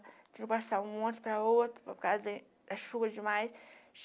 Tivemos que passar um ônibus para o outro, por causa da da chuva demais.